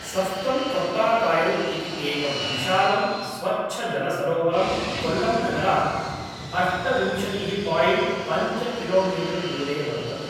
सस्तम् कोट्टाकायल् इति एकं विशालं स्वच्छजलसरोवरं कोल्लम् नगरात् अष्टविंशतिः पायिण्ट् पञ्च किलोमीटर् दूरे वर्तते।